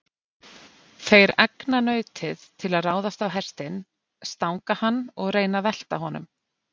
Þeir egna nautið til að ráðast á hestinn, stanga hann og reyna að velta honum.